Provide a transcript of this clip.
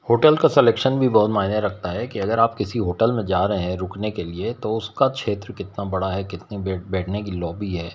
Hotel का selection भी बहुत मायने रखता है कि अगर आप किसी होटल में जा रहे हैं रुकने के लिए तो उसका क्षेत्र कितना बड़ा है कितनी बैठने की लॉबी है।